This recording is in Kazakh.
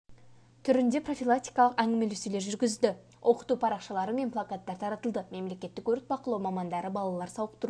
түрінде профилактикалық әңгімелесулер жүргізді оқыту парақшалары мен плакаттар таратылды мемлекеттік өрт бақылау мамандары балалар сауықтыру